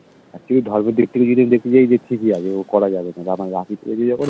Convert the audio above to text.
Actually ধর্মের দিক থেকে যদি আমি দেখতে যাই যে ঠিক লাগে করা যাবে রাখি পড়িয়েছে যখন